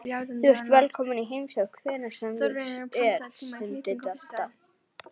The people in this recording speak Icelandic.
Þú ert velkominn í heimsókn hvenær sem er stundi Dadda.